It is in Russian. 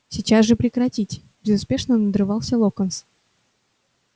сейчас же прекратить безуспешно надрывался локонс